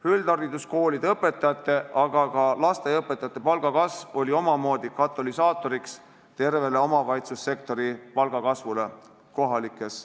Üldhariduskoolide õpetajate, aga ka lasteaiaõpetajate palga kasv oli omamoodi katalüsaatoriks tervele omavalitsussektori palgakasvule.